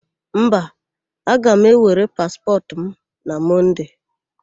Mba. aga m ewere paspọtụ m na Mọnde.